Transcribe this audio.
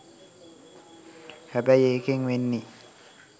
හැබැයි ඒකෙන් වෙන්නේ